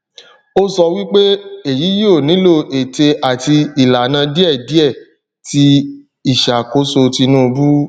o sọ wipe eyi yio nilo ete ati ilana diẹdiẹ ti iṣakoso tinubu